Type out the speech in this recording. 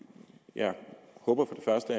jeg håber